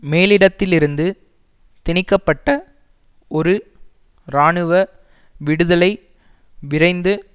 மேலிடத்திலிருந்து திணிக்க பட்ட ஒரு இராணுவ விடுதலை விரைந்து